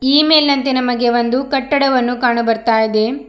ಈ ಮೆಲ್ನಂತೆ ನಮಗೆ ಒಂದು ಕಟ್ಟಡವನು ಕಾಣುಬರ್ತಾಇದೆ.